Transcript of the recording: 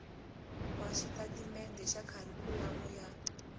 wa xitatimende xa kharikhulamu ya